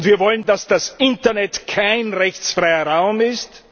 Und wir wollen, dass das Internet kein rechtsfreier Raum ist.